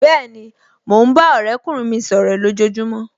Bẹ́ẹ̀ni, mo ń bá ọ̀rẹ́kùnrin mi sọ̀rọ̀ lojojumo